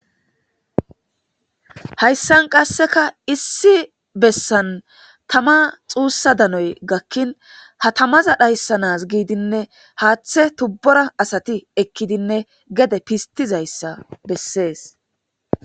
Hayssan qasseka issi bessan tama xuussa danoy gakkin hatamaza dhayssanaz giidinne haaththe tubbora asati ekkidinne geede pistizayssa bessees.